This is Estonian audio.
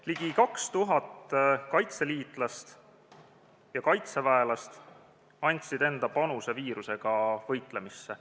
Ligi 2000 kaitseliitlast ja kaitseväelast andsid enda panuse viirusega võitlemisse.